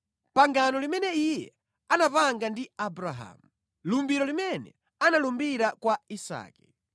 pangano limene Iye anapanga ndi Abrahamu, lumbiro limene analumbira kwa Isake.